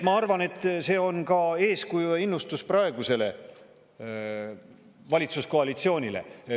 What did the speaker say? Ma arvan, et see on ka eeskuju ja innustus praegusele valitsuskoalitsioonile.